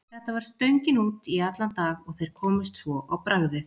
Þetta var stöngin út í allan dag og þeir komust svo á bragðið.